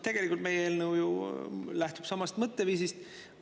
Tegelikult lähtub meie eelnõu ju samast mõtteviisist.